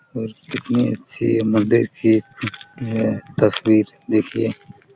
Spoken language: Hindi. और कितने अच्छे मंदिर की अम ये तस्वीर देखिये--